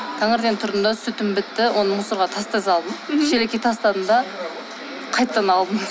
таңертең тұрдым да сүтім бітті оны мусорға тастай салдым шелекке тастадым да қайтадан алдым